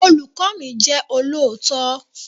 Olùkọ́ mi jẹ́ olóòótọ́